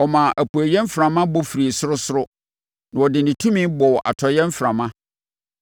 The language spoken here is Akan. Ɔmaa apueeɛ mframa bɔ firii sorosoro, na ɔde ne tumi bɔɔ atɔeɛ mframa.